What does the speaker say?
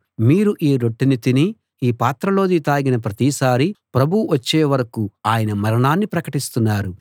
మీరు ఈ రొట్టెను తిని ఈ పాత్రలోది తాగిన ప్రతిసారీ ప్రభువు వచ్చేవరకూ ఆయన మరణాన్ని ప్రకటిస్తున్నారు